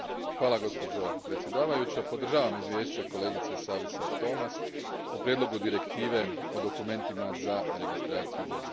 Gospođo predsjedavajuća, podržavam izvješće kolegice Savisaar Toomast o prijedlogu Direktive o dokumentima za registraciju vozila.